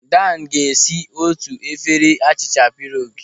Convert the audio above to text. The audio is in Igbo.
Dan ga-esi otu efere achịcha pierogi.